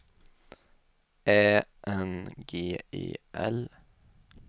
Ä N G E L